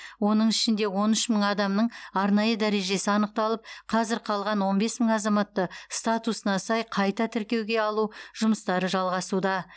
оның ішінде он үш мың адамның арнайы дәрежесі анықталып қазір қалған он бес мың азаматты статусына сай қайта тіркеуге алу жұмыстары жалғасуда